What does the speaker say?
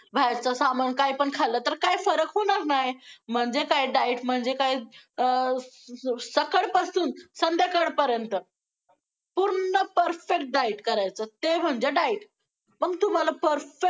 बाहेरचं सामान काय पण खाल्लं तर काय फरक होणार नाही! म्हणजे काय diet म्हणजे काय अं सकाळपासून संध्याकाळ पर्यंत पूर्ण perfect diet करायचं ते म्हणजे diet मग तुम्हाला perfect